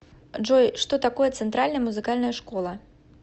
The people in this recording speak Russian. джой что такое центральная музыкальная школа